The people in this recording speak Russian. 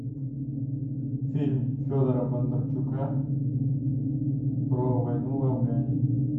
фильм федора бондарчука про войну в афгане